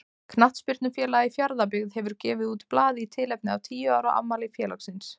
Knattspyrnufélagið Fjarðabyggð hefur gefið út blað í tilefni af tíu ára afmæli félagsins.